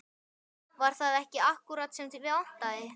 Var það ekki akkúrat sem þig vantaði?